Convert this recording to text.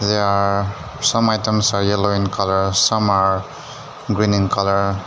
Yeah some items are yellow in colour some are green in colour.